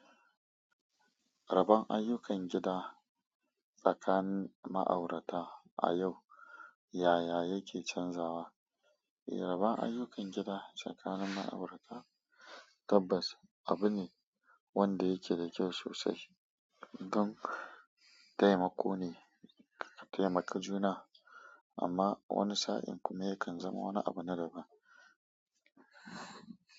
Raban ayyukan gida tsakanin ma'aurata a yau. Yaya yake canjawa? Raban ayyukan gida tsakanin ma'aurata. Tabbas abu ne wanda yake da kyau sosai don taimako ne, a taimaki juna, amma wani sa'in kuma yakan zama wani abu na daban.